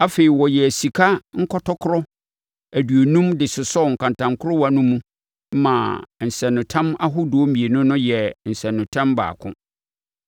Afei, wɔyɛɛ sika nkɔtɔkorɔ aduonum de sosɔɔ nkantankorowa no mu maa nsɛnanotam ahodoɔ mmienu no yɛɛ nsɛnanotam baako.